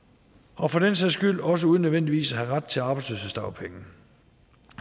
og for den sags skyld også uden nødvendigvis at have ret til arbejdsløshedsdagpenge